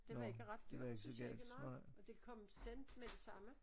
Det var ikke ret dyrt synes jeg ikke nej og det kom sent med det samme